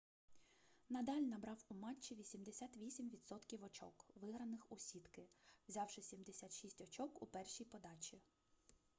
надаль набрав у матчі 88% очок виграних у сітки взявши 76 очок у першій подачі